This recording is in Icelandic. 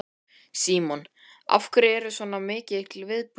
Símon: Af hverju er svona mikill viðbúnaður?